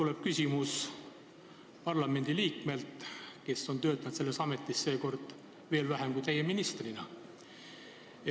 See küsimus tuleb parlamendiliikmelt, kes on töötanud selles Riigikogu koosseisus veel vähem kui teie ministrina.